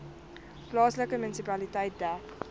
plaaslike munisipaliteit dek